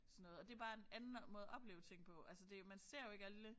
Sådan noget og det bare en anden måde at opleve ting på altså det man ser jo ikke alle